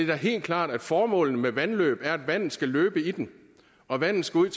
da helt klart at formålet med vandløb er at vandet skal løbe i dem og at vandet skal ud